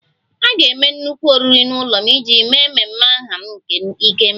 A ga-eme nnukwu oriri n'ụlọ m iji mee ememe aha m nke 'ikemba'